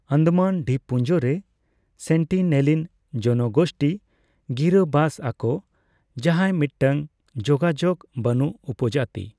ᱟᱱᱫᱟᱢᱟᱱ ᱫᱤᱵᱯᱩᱱᱡᱚ ᱨᱮ ᱥᱮᱱᱴᱤᱱᱮᱞᱤᱱ ᱡᱚᱱᱜᱳᱥᱴᱤ ᱜᱤᱨᱟᱹ ᱵᱟᱥ ᱟᱠᱚ, ᱡᱟᱦᱟᱭ ᱢᱤᱫᱴᱟᱝ ᱡᱳᱜᱟᱡᱳᱠ ᱵᱟᱱᱩᱜ ᱩᱯᱚᱡᱟᱛᱤ᱾